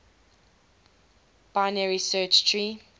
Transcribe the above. binary search tree